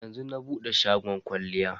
Yanzu na bude shagon kwalliyan.